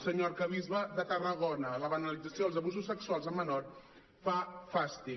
senyor arquebisbe de tarragona la banalització dels abusos sexuals a menors fa fàstic